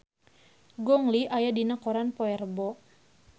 Gong Li aya dina koran poe Rebo